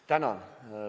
Tänan!